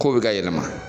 Kow be ka yɛlɛma